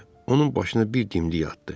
Onun başına bir dimdik atdı.